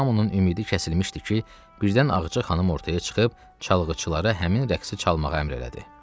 Hamının ümidi kəsilmişdi ki, birdən Ağca xanım ortaya çıxıb çalgıçılara həmin rəqsi çalmağa əmr elədi.